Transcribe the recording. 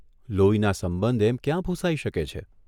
લોહીના સંબંધ એમ ક્યાં ભૂંસાઇ શકે છે?